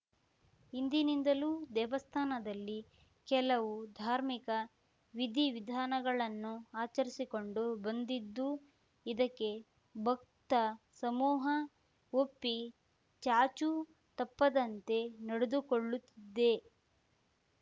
ಹಿಂದಿನಿಂದಲೂ ದೇವಸ್ಥಾನದಲ್ಲಿ ಕೆಲವು ಧಾರ್ಮಿಕ ವಿಧಿವಿಧಾನಗಳನ್ನು ಆಚರಿಸಿಕೊಂಡು ಬಂದಿದ್ದು ಇದಕ್ಕೆ ಭಕ್ತಸಮೂಹ ಒಪ್ಪಿ ಚಾಚೂ ತಪ್ಪದಂತೆ ನಡೆದುಕೊಳ್ಳುತ್ತಿದ್ದೆ